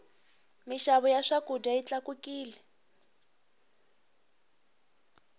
mixavo ya swakudya yi tlakukile